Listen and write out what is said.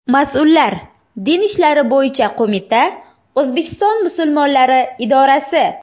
Mas’ullar - Din ishlari bo‘yicha qo‘mita, O‘zbekiston musulmonlari idorasi.